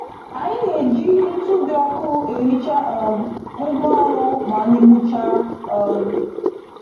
Anyị na-eji ntụ dị ọkụ e hichaa um ngwa ọrụ maanyị gbuchaa. um